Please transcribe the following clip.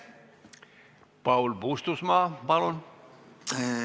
Paul Puustusmaa, palun!